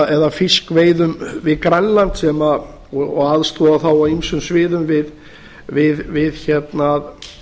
eða fiskveiðum við grænland og aðstoða þá á ýmsum sviðum við að